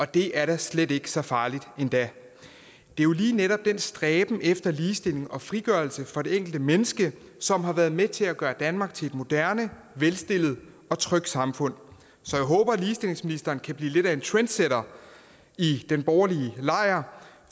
det er da slet ikke så farligt endda det er jo lige netop den stræben efter ligestilling og frigørelse for det enkelte menneske som har været med til at gøre danmark til et moderne velstillet og trygt samfund så jeg håber at ligestillingsministeren kan blive lidt af en trendsetter i den borgerlige lejr